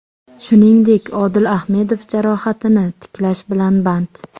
Shuningdek, Odil Ahmedov jarohatini tiklash bilan band.